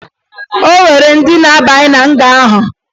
O nwere ndị na-abanye na nga ahụ